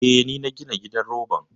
Eh, ni na gina gidan roban.